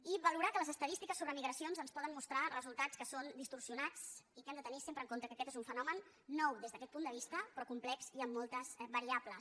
i valorar que les estadístiques sobre migracions ens poden mostrar resultats que són distorsionats i que hem de tenir sempre en compte que aquest és un fenomen nou des d’aquest punt de vista però complex i amb moltes variables